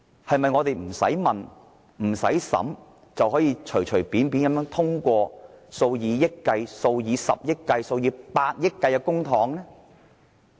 我們是否不用提問、不用審議，便隨便通過數以億元、十億元或百億元計的項目？